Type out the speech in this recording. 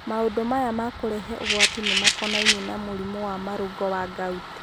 maũndu aya ma kũrehe ũgwati nĩ makonainie na mũrimũ wa marũngo wa gout.